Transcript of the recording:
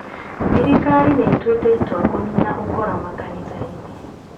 Thirikari nĩ ĩtuĩte itua kũnina ũkora makanitha-inĩ